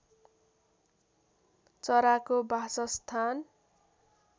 चराको बासस्थान